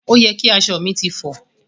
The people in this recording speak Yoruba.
Òye ki aṣọ mi ti fọ.